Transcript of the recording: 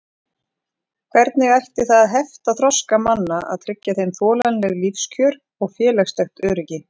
Hvernig ætti það að hefta þroska manna að tryggja þeim þolanleg lífskjör og félagslegt öryggi?